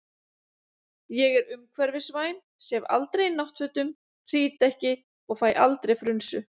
Ég er umhverfisvænn, sef aldrei í náttfötum, hrýt ekki og fæ aldrei frunsu.